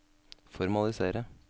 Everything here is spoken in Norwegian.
formalisere